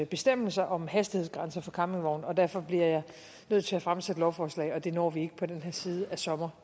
bestemmelser om hastighedsgrænser for campingvogne derfor bliver jeg nødt til at fremsætte et lovforslag og det når vi desværre ikke på den her side af sommeren